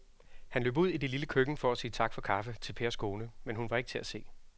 Han løb ud i det lille køkken for at sige tak for kaffe til Pers kone, men hun var ikke til at se.